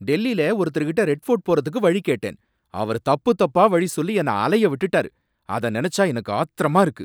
டெல்லில ஒருத்தர்கிட்ட Red Fort போறதுக்கு வழி கேட்டேன், அவர் தப்பு தப்பா வழிசொல்லி என்னை அலைய விட்டுட்டாரு, அத நினைச்சா எனக்கு ஆத்திரமா இருக்கு.